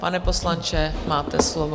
Pane poslanče, máte slovo.